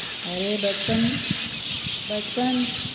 અરે બચપણ બચપણ